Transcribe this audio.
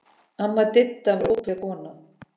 Amma Didda var ótrúleg kona.